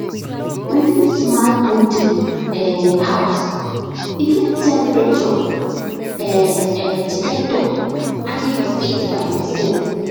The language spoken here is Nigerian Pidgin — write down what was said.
we build smart poultry um house e get temperature um um dectector and dey feed by himself